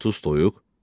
30 toyuq?